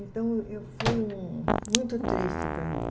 Então, eu foi muito triste para mim.